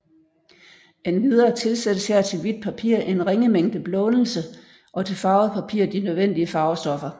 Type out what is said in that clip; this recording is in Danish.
Endvidere tilsættes her til hvidt papir en ringe mængde blånelse og til farvet papir de nødvendige farvestoffer